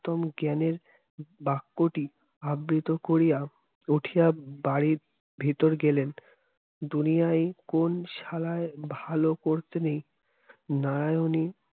উত্তম জ্ঞানের বাক্যটি আবৃত করিয়া উঠিয়া বাড়ির ভেতর গেলেন দুনিয়ায় কোন শালার ভালো করতে নেই নারায়নী